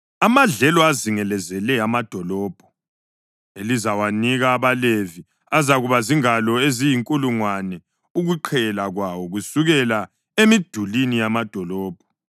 Amadlelo azingelezele amadolobho elizawanika abaLevi, azakuba zingalo eziyinkulungwane ukuqhela kwawo kusukela emidulini yamadolobho.